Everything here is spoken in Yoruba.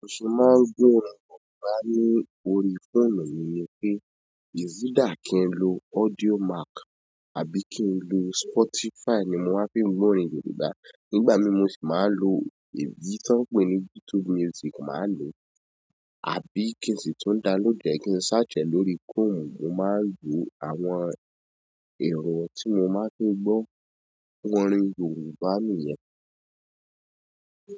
Mo ṣì máa ń gbọ́ orin yorùbá lórí fóònù mi ni pé, "is either" kí n lo Audiomack àbí kí n lo Spotify ni mo máa ń fi gbọ́ orin Yorùbá. Nígbà mi mo sì máa ń lo èyí tan ń pè ní "YouTube music" máa lò, àbí kí n sì tún "download" e kí n "search" e lórí Chromu, mo máa ń lo àwọn ero tí mo máa ń fi gbọ́ orin Yorùbá ni yẹn.